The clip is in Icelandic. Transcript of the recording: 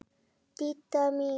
Didda mín.